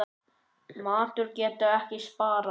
Matur getur ekki sparað.